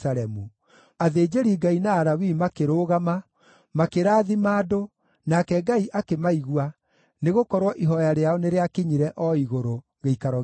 Athĩnjĩri-Ngai na Alawii makĩrũgama, makĩrathima andũ, nake Ngai akĩmaigua, nĩgũkorwo ihooya rĩao nĩrĩakinyire o igũrũ, gĩikaro gĩake gĩtheru.